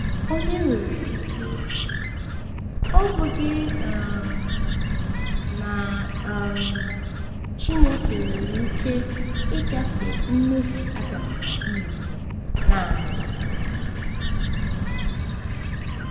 Onye nwere ike ịjụ, ‘Ọ̀ bụghị um na um Chineke nwere ike ịgafe mmehie Adam na Ivụ naanị?’